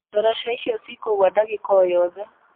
Ndaraca icio cikũgũa ndagĩka o,yo the